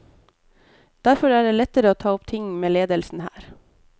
Derfor er det lettere å ta opp ting med ledelsen her.